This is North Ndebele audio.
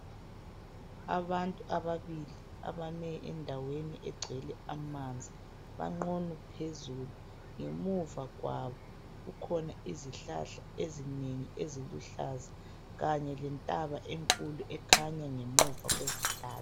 Abantu ababili abame endaweni egcwele amanzi bagqunu bephuzulu ngemuva kwabo kukhona izihlahla ezinengi eziluhlaza kanye lentaba enkulu ekhanya ngemuva kwezihlahla.